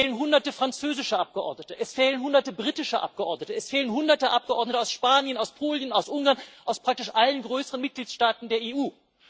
Es fehlen Hunderte französische Abgeordnete, es fehlen Hunderte britische Abgeordnete, es fehlen Hunderte Abgeordnete aus Spanien, aus Polen, aus Ungarn, aus praktisch allen größeren Mitgliedstaaten der EU.